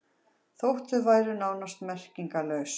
Þótt þau væru nánast merkingarlaus.